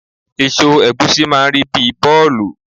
Èso ẹ̀gúsí máà ń rí bíi bọ́ọ̀lù